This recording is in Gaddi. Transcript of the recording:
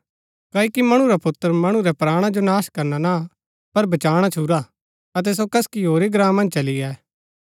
क्ओकि मणु रा पुत्र मणु रै प्राणा जो नाश करना ना पर बचाणा छूरा अतै सो कसकी होरी ग्राँ मन्ज चली गै